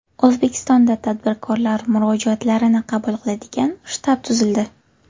O‘zbekistonda tadbirkorlar murojaatlarini qabul qiladigan shtab tuzildi.